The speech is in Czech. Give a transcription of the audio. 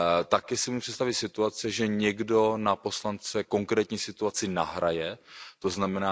Také si umím představit situaci, že někdo na poslance konkrétní situaci nahraje, tzn.,